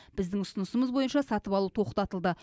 біздің ұсынысымыз бойынша сатып алу тоқтатылды